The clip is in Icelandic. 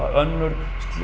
önnur